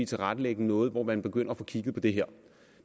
tilrettelægge noget hvor man begynder at få kigget på det her